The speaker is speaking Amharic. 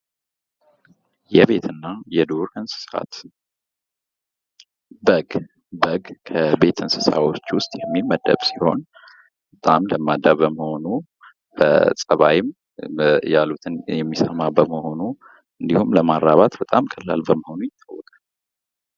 የቤት እና የዱር እንስሳት ፦ በግ ፦ በግ ከቤት እንስሳቶች ውስጥ የሚመደብ ሲሆን በጣም ለማዳ በመሆኑ ፣ በፀባይም ያሉትን የሚሰማ በመሆኑ እንዲሁም ለማራባት በጣም ቀላል በመሆኑ ይታወቃል ።